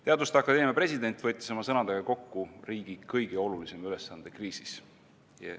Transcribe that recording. " Teaduste Akadeemia president võttis oma sõnadega kokku riigi kõige olulisema ülesande kriisis.